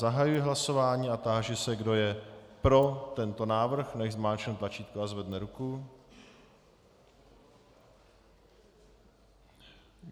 Zahajuji hlasování a táži se, kdo je pro tento návrh, nechť zmáčkne tlačítko a zvedne ruku.